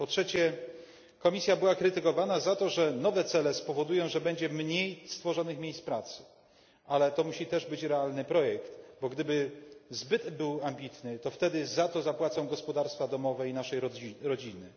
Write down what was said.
Po trzecie, Komisja była krytykowana za to, że nowe cele spowodują, że powstanie mniej miejsc pracy, ale to musi też być realny projekt, bo gdyby był zbyt ambitny, to wtedy za to zapłacą gospodarstwa domowe i nasze rodziny.